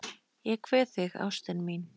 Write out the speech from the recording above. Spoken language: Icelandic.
Ég kveð þig, ástin mín.